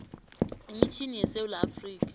imitjhini yesewula afrika